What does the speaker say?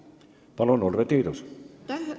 Palun, Urve Tiidus!